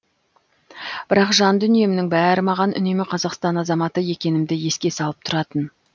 бірақ жан дүниемнің бәрі маған үнемі қазақстан азаматы екенімді еске салып тұратын